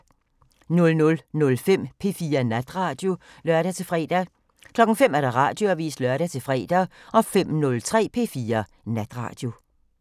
00:05: P4 Natradio (lør-fre) 05:00: Radioavisen (lør-fre) 05:03: P4 Natradio